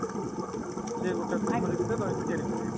ସେ ଗୋଟେ କୋଠରୀ ଭିତରେ ରହିକି ତିଆରି କରିବେ |